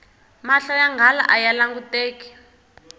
mahlo ya nghala aya languteki